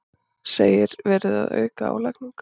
Segir verið að auka álagningu